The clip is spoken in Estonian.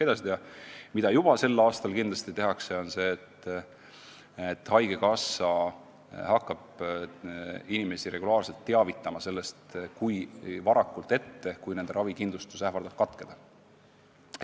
Aga mida juba sel aastal kindlasti tehakse, on see, et haigekassa hakkab inimesi varakult ette teavitama, kui nende ravikindlustus ähvardab katkeda.